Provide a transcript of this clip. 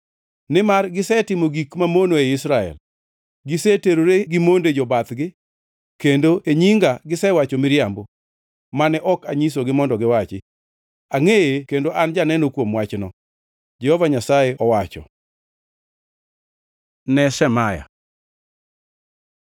Nimar gisetimo gik mamono ei Israel; giseterore gi monde jobathgi kendo e nyinga gisewacho miriambo, mane ok anyisogi mondo giwachi. Angʼeye kendo an janeno kuom wachno,” Jehova Nyasaye owacho. Wach ne Shemaya